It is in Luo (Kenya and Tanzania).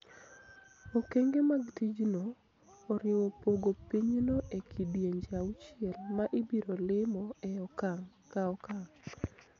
Okenge mag ticjno oriwo pogo pinyno e kidienje auchiel ma ibiro limo e okang� ka okang�.